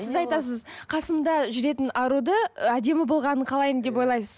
сіз айтасыз қасымда жүретін аруды әдемі болғанын қалаймын деп ойлайсыз